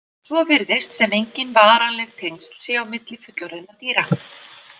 Svo virðist sem engin varanleg tengsl séu á milli fullorðinna dýra.